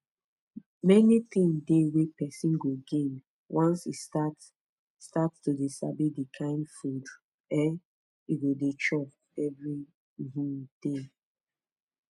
many thing dey wey person go gain once e start start to dey sabi the kind food um e go dey chop every um day